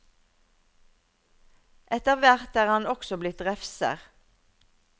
Etter hvert er han også blitt refser.